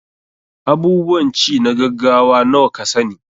Abubuwan ci na gaggawa nawa ka sa ni?